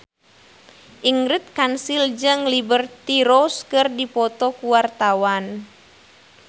Ingrid Kansil jeung Liberty Ross keur dipoto ku wartawan